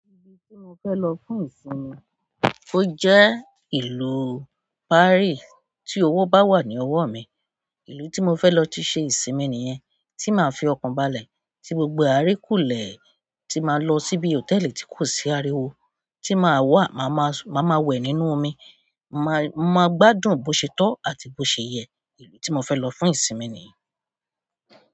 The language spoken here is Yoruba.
Ibi tí mo fẹ́ lọ fún ìsinmi, ó jẹ́ ìlú Paris. Tí owó bá wà ní ọwọ́ mi, ìlú tí mo fẹ́ lọ ti ṣe ìsinmi nìyẹn. Tí màá fi ọkàn balẹ̀, tí gbogbo àrí kú lè, tí màá lọ síbi hòtẹ́ẹ̀lì tí kò sí ariwo, tí màá wà, màá ma wẹ̀ nínú omi, màá gbádùn bó ṣètò àti bó ṣe yẹ. Ìlú tí mo fẹ́ lọ fún ìsinmi nìyẹn.